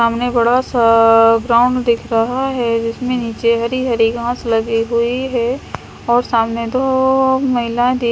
सामने बड़ा सा ग्राउंड दिख रहा है जिसमें निचे हरी हरी घास लगी हुई है और सामने दो महिलाए दे--